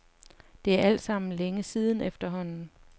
Det er alt sammen længe siden efterhånden.